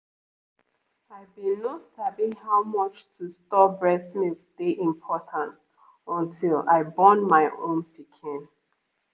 i been no sabi how much to store breast milk dey important until i born my own pikin